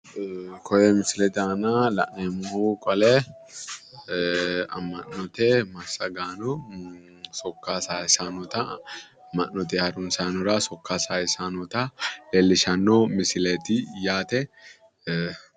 Koye misilete aana la'neemmohu qole ee ammanote massagaano sokka saayiisannota amma'note harumsaanora sokka sayiisannota leellishshanno misileeti yaate